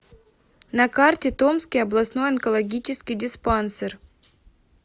на карте томский областной онкологический диспансер